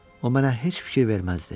O mənə heç fikir verməzdi.